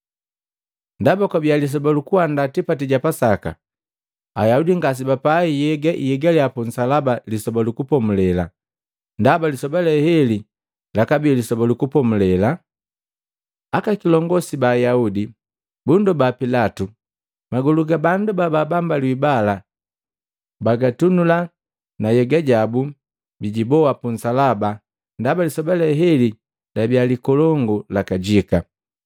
Ndaba kwabiya lisoba lukuandaa tipati ja Pasaka, Ayaudi ngasebapai nhyega ihigaliya punsalaba Lisoba lu Kupomulela, ndaba lisoba le heli labii Lisoba lu Kupomulela. Aka kilongosi ba Ayaudi bundoba Pilatu magolu ga bandu baabambaliwi bala bijitunula na nhyega yabu biiboa punsalaba ndaba lisoba le heli labia likolongu lakajika.